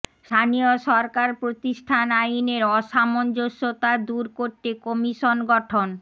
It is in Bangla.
স্থানীয় সরকার প্রতিষ্ঠান আইনের অসামঞ্জস্যতা দূর করতে কমিশন গঠন